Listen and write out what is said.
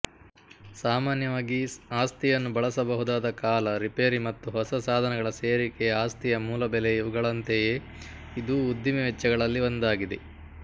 ಸಾಮಾನ್ಯವಾಗಿ ಆಸ್ತಿಯನ್ನು ಬಳಸಬಹುದಾದ ಕಾಲ ರಿಪೇರಿ ಮತ್ತು ಹೊಸ ಸಾಧನಗಳ ಸೇರಿಕೆ ಆಸ್ತಿಯ ಮೂಲಬೆಲೆಇವುಗಳಂತೆಯೇ ಇದೂ ಉದ್ದಿಮೆ ವೆಚ್ಚಗಳಲ್ಲಿ ಒಂದಾಗಿದೆ